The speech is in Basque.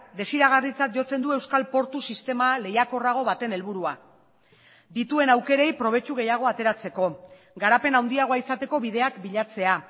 desiragarritzat jotzen du euskal portu sistema lehiakorrago baten helburua dituen aukerei probetxu gehiago ateratzeko garapen handiagoa izateko bideak bilatzea